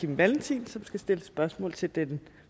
kim valentin som skal stille spørgsmål til den